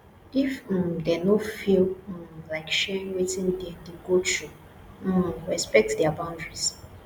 if um them no feel um like sharing wetin dem de go through um respect their boundaries